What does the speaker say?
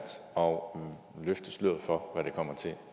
og løfte sløret for hvad det kommer til at